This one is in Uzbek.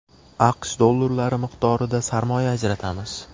AQSh dollari miqdorida sarmoya ajratamiz.